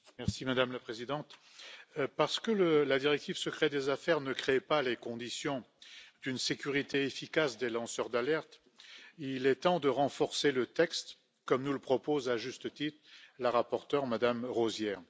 Madame la Présidente, la directive secret des affaires ne créant pas les conditions d'une sécurité efficace pour les lanceurs d'alerte, il est temps de renforcer le texte, comme nous le propose à juste titre la rapporteure, Mme Rozière.